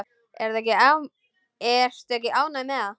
Ertu ekki ánægð með það?